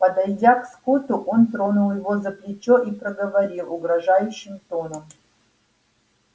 подойдя к скотту он тронул его за плечо и проговорил угрожающим тоном